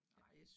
Ja